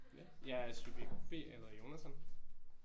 Ja jeg er subjekt B og jeg hedder Jonathan